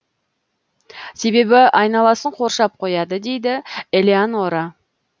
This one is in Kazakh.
себебі айналасын қоршап қояды дейді элеонора